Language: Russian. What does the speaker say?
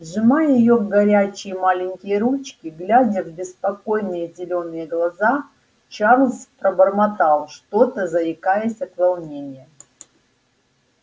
сжимая её горячие маленькие ручки глядя в беспокойные зелёные глаза чарлз пробормотал что-то заикаясь от волнения